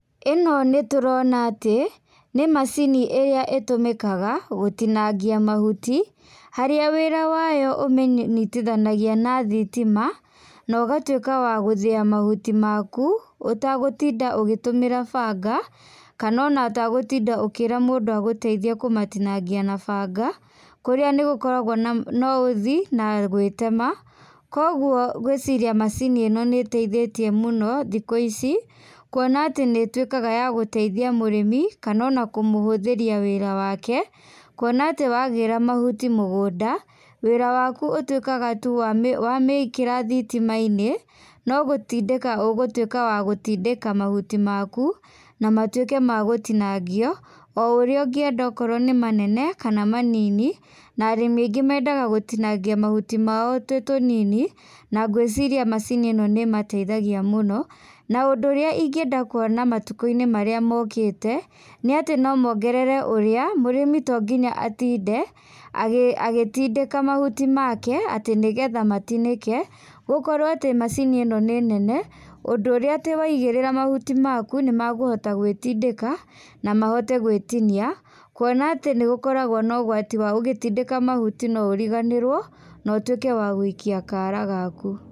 Ĩno nĩtũrona atĩ, nĩ macini ĩrĩa ĩtũmĩkaga gũtinangia mahuti, harĩa wĩra wayo ũmĩnyithanagia na thitima, no ũgatuĩka wa gũthia mahuti maku, ũtagũtinda ũgĩtũmĩra banga, kana ona ũtagũtinda ũkĩra mũndũ agũteithie kũmatinagia na banga, kũrĩa nĩgũkoragwo na na uthi na gwĩtema, koguo ngwĩciria macini ĩno nĩiteithĩtie mũno thikũ ici, kuona atĩ nĩituĩkaga ya gũteithia mũrĩmi, kana ona kũmũhũthĩria wĩra wake, kuona atĩ wagĩra mahuti mũgũnda, wĩra waku ũtuĩkaga tu wa wamĩkĩra thitimainĩ, no gutindĩka ũgũtuĩka wa gũtindĩka mahuti maku, na matuĩke ma gũtinangio, o ũrĩa ũngĩenda okorwo nĩ manene kana manini, na arĩmi aingĩ mendaga gũtinangia mahuti mao tũnini, na ngwĩciria macini ĩni nĩ ĩmateithagia mũno, na ũndũ ũrĩa ingĩenda kuona matukũinĩ marĩa mokĩte nĩ atĩ nomengerere ũrĩa mũrĩmi tonginya atinde agĩ agĩtindĩka mahuti make, atĩ nĩgetha matinĩke, gũkorwo atĩ macini ĩno nĩ nene, ũndũ ũrĩa atĩ waigĩrĩra mahuti maku, nĩmakũhota gwĩtindĩka, na mahote gwĩtinia, kuona atĩ nĩgũkoragwo na ũgwati wa ũgĩtidĩka mahuti no ũriganĩrwo na ũtuĩke wa guikia kara gaku.